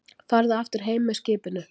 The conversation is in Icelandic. Farðu aftur heim með skipinu!